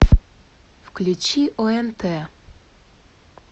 включи онт